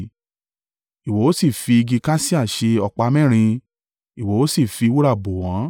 Ìwọ ó sì fi igi kasia ṣe ọ̀pá mẹ́rin, ìwọ ó sì fi wúrà bò wọ́n.